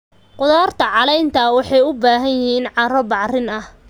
Khudaarta caleenta leh waxay u baahan yihiin carro bacrin ah.